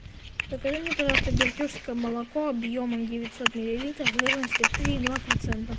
закажи мне пожалуйста бердюжское молоко объемом девятьсот миллилитров жирностью три и два процента